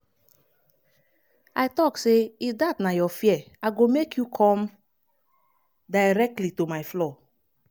i tok say if dat na your fear i go make you come directly to my floor.